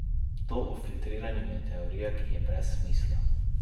To o filtriranju je teorija, ki je brez smisla.